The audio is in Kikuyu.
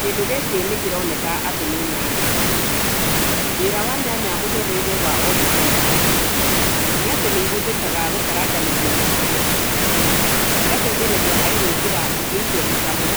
Kĩndũ gĩkĩ nĩkĩroneka atĩ nĩ nyanya, wĩra wa nyanya mũtũrĩre-inĩ wa o mũthenya nĩatĩ nĩihũthĩkaga gũkaranganĩrio na irio na cigateithĩrĩria harĩ gũĩkĩra irio icio mũcamo